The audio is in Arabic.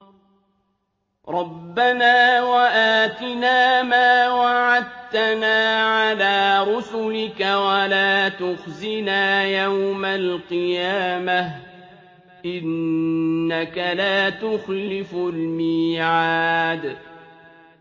رَبَّنَا وَآتِنَا مَا وَعَدتَّنَا عَلَىٰ رُسُلِكَ وَلَا تُخْزِنَا يَوْمَ الْقِيَامَةِ ۗ إِنَّكَ لَا تُخْلِفُ الْمِيعَادَ